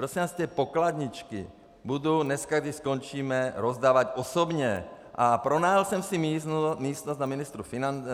Prosím vás, ty pokladničky budu dneska, když skončíme, rozdávat osobně a pronajal jsem si místnost